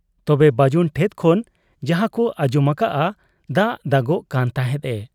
ᱛᱚᱵᱮ ᱵᱟᱹᱡᱩᱱ ᱴᱷᱮᱫ ᱠᱷᱚᱱ ᱡᱟᱦᱟᱸᱠᱚ ᱟᱸᱡᱚᱢ ᱟᱠᱟᱜ ᱟ, ᱫᱟᱜ ᱫᱟᱜᱚᱜ ᱠᱟᱱ ᱛᱟᱦᱮᱸᱫ ᱮ ᱾